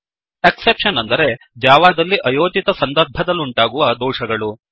exceptions ಅಂದರೆ ಜಾವಾದಲ್ಲಿ ಅಯೋಚಿತ ಸಂದರ್ಭದಲ್ಲುಂಟಾಗುವ ದೋಷಗಳು